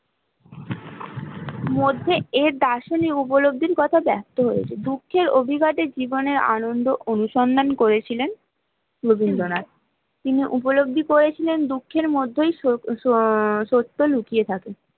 মধ্যে এ দার্শনিযো উপলব্ধির কথা ব্যক্ত হয়েছে জীবনের আনন্দ অনুসন্ধান করেছিলেন রবীন্দ্রনাথ, তিনি উপলব্ধি করেছিলেন দুঃখের মধ্যে সত্য লুকিয়ে থাকে